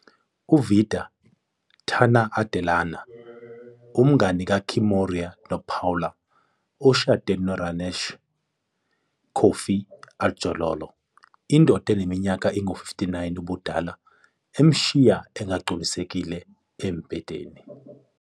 UVida, Tana Adelana, umngani kaKimora noPaula, ushade noRanesh, Kofi Adjorlolo, indoda eneminyaka engu-59 ubudala emshiya engagculisekile embhedeni.